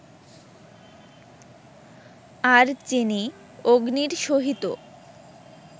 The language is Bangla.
আর যিনি অগ্নির সহিত